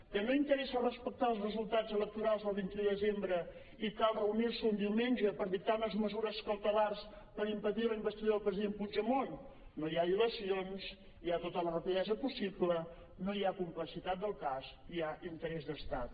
que no interessa respectar els resultats electorals del vint un de desembre i cal reunir·se un diumenge per dictar unes mesures cautelars per impedir la investidura del president puigdemont no hi ha dilacions hi ha tota la rapidesa possible no hi ha complexitat del cas hi ha interès d’estat